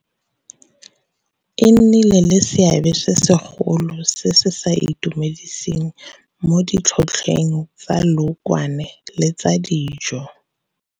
e nnile le seabe se segolo se se sa itumediseng mo ditlhotlhweng tsa leokwane le tsa dijo.